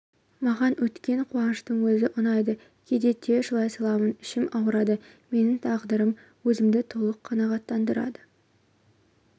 маған өткен қуаныштың өзі ұнайды кейде тез жылай саламын ішім ауырады менің тағдырым өзімді толық қанағаттандырады